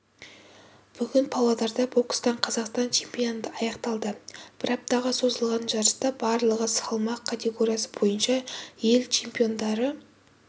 бүгін павлодарда бокстан қазақстан чемпионаты аяқталды бір аптаға созылған жарыста барлығы салмақ категориясы бойынша ел чемпиондары